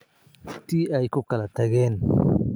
Tii ay ku kala tageen.